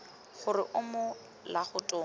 gore o mo legatong la